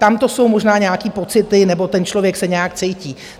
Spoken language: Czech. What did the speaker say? Tamto jsou možná nějaké pocity, nebo ten člověk se nějak cítí.